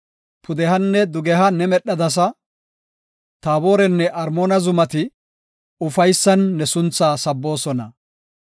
Pudehanne dugeha ne medhadasa; Taaborenne Armoona zumati, ufaysan ne sunthaa sabboosona.